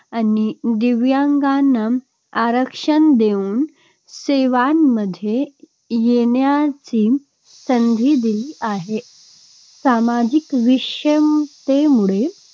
आणि दिव्यांगांना आरक्षण देऊन सेवांमध्ये येण्याची संधी दिली आहे. सामाजिक विषमतेमुळे